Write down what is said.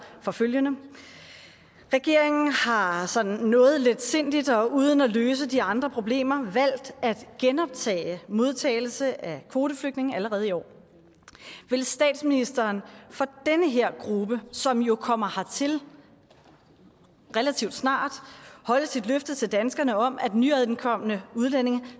for følgende regeringen har sådan noget letsindigt og uden at løse de andre problemer valgt at genoptage modtagelse af kvoteflygtninge allerede i år vil statsministeren for den her gruppe som jo kommer hertil relativt snart holde sit løfte til danskerne om at nyankomne udlændinge